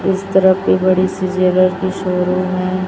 इस तरफ भी बड़ी सी ज्वेलर की शोरुम है।